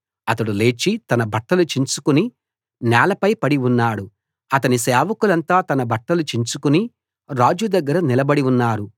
అతడు లేచి తన బట్టలు చించుకుని నేలపై పడి ఉన్నాడు అతని సేవకులంతా తన బట్టలు చించుకుని రాజు దగ్గర నిలబడి ఉన్నారు